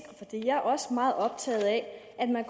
jeg er også meget optaget af at man